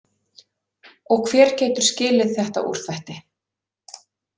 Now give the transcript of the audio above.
Og hver getur skilið þetta úrþvætti?